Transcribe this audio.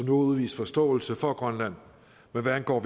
har udvist forståelse for grønland men hvad angår